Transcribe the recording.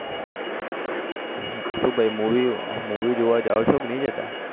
શું ભાઈ movie જોવા જાઓ છે કે નહી જતા